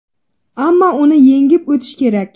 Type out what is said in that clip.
Ammo uni yengib o‘tish kerak.